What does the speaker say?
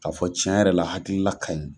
Ka fɔ cɛn yɛrɛ la hakilila ka ɲi.